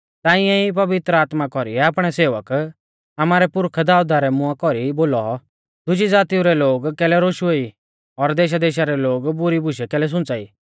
ताऐं ई पवित्र आत्मा कौरीऐ आपणै सेवक आमारै पुरखा दाऊदा रै मुआं कौरी बोलौ दुजी ज़ातीऊ रै लोग कैलै रोशुऐ ई और देशादेशा रै लोग बुरी बुशै कैलै सुंच़ाई